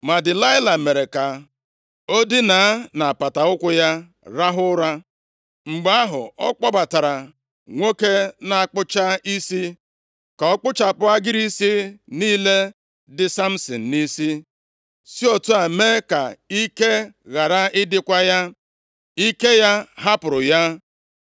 Ma Delaịla mere ka o dinaa nʼapata ụkwụ ya rahụ ụra. Mgbe ahụ, ọ kpọbatara nwoke na-akpụcha isi, ka ọ kpụchapụ agịrị isi niile dị Samsin nʼisi, si otu a mee ka ike ghara ịdịkwa ya. Ike ya hapụrụ ya.